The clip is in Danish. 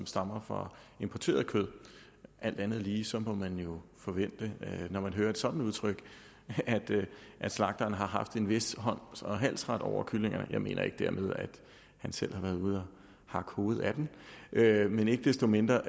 stammer fra importeret kød alt andet lige må man jo forvente når man hører et sådant udtryk at slagteren har haft en vis hånd og halsret over kyllingerne jeg mener ikke dermed at han selv har været ude og hakke hovedet af dem men ikke desto mindre